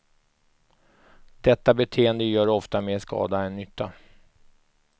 Detta beteende gör ofta mer skada än nytta.